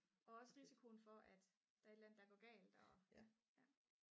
og også risikoen for at der er et eller andet der går galt og ja